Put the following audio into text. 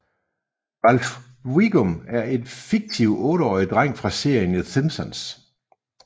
Ralph Wiggum er en fiktiv otteårig dreng fra serien The Simpsons